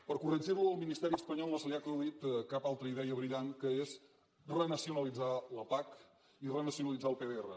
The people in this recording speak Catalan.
per corregir ho al ministeri espanyol no se li ha acudit cap altra idea brillant com és renacionalitzar la pac i renacionalitzar el pdr